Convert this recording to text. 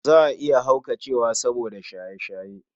Za a iya haukacewa soboda shaye-shaye.